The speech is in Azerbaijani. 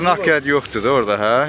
Heç bir işarə yoxdur da orda, hə?